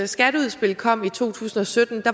skatteudspil kom i to tusind og sytten